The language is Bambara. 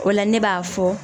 O la ne b'a fɔ